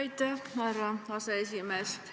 Aitäh, härra aseesimees!